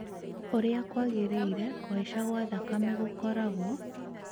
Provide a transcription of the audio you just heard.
ũrĩa kwagĩrĩire, kuhaica gwa thakame gũkoragwo